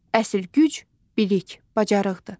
Əsl güc bilik, bacarıqdır.